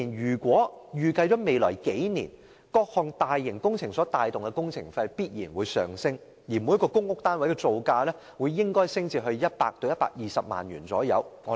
政府預計在各項大型工程帶動下，未來數年的工程費必然會上升，每個公屋單位的造價應會上升至約100萬元至120萬元。